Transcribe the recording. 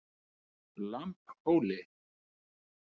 Lambhóli